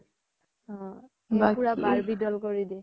অ পুৰা Barbie doll কৰি দিয়ে